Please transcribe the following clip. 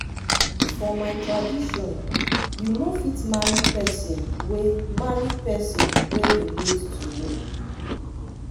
for my tradition you no fit marry pesin wey marry pesin wey relate to you.